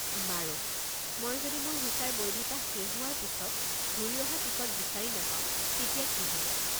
বাৰু, মই যদি মোৰ ভিছাৰ বৈধতা শেষ হোৱাৰ পিছত ঘূৰি অহা টিকট বিচাৰি নাপাওঁ তেতিয়া কি হ'ব?